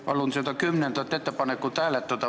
Palun seda kümnendat ettepanekut hääletada.